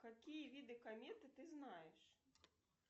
какие виды кометы ты знаешь